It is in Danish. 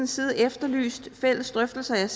side efterlyst fælles drøftelser jeg